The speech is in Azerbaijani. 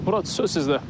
Murad, söz sizdə.